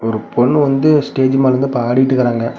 ஒரு பொண்ணு வந்து ஸ்டேஜ் மேல இருந்து பாடீட்ருக்கராங்க.